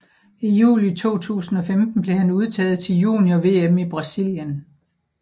I juli 2015 blev han udtaget til junior VM i Brasilien